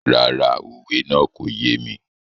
Rárá, òwe náà kò yé mi.